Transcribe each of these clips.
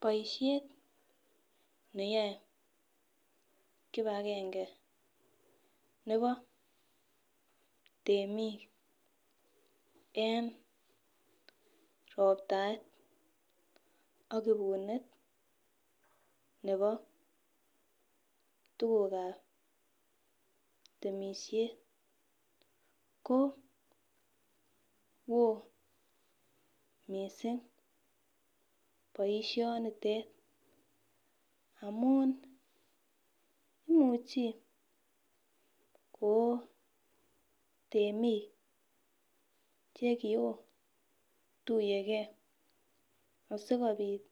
Boisiet neyoe kipakenge nebo temik nebo roptaet ak ibunet nebo tugukab temisiet koo woo missing boisionitet, amun imuchi koo temik chekiotuiyekee asikobit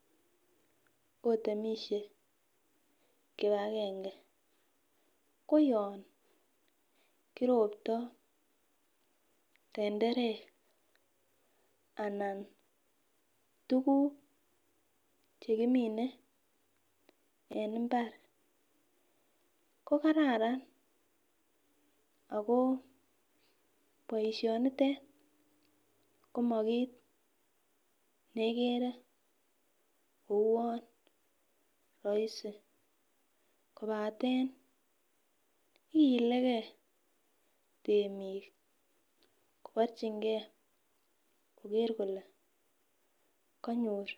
otemisie kipakenge koyon kiroptoo tenderek anan tuguk chekimine en mbar kokararan akoo boisionitet, komo kit nekere kouwon rahisi kobaten igilegee temik koborchingee koker kole kanyor.